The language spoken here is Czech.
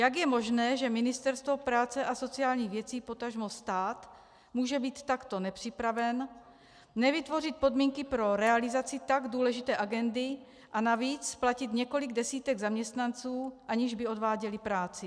Jak je možné, že Ministerstvo práce a sociálních věcí, potažmo stát, může být takto nepřipraveno, nevytvořit podmínky pro realizaci tak důležité agendy a navíc platit několik desítek zaměstnanců, aniž by odváděli práci?